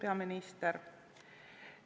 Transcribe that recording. Kohtumiseni homme kell 10.